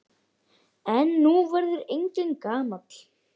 En nú verður enginn gamall.